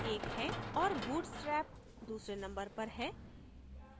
और bootstrap दूसरे number पर है